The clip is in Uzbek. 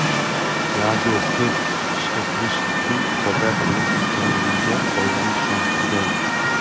Yago qiz ishga kirish uchun Jakartaga ketganligiga oilani ishontirgan.